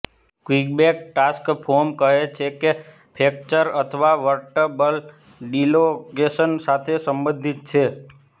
Quebec task force કહે છે કે તે ફ્રેક્ચર અથવા વર્ટેબ્રલ ડિલોકેશન સાથે સંબંધિત છે